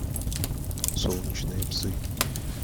солнечные псы